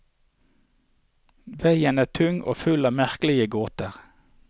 Veien er tung og full av merkelige gåter.